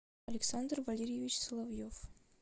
александр валерьевич соловьев